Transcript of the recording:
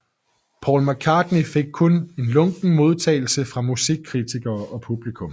McCartney fik kun lunken modtagelse fra musikkritikere og publikum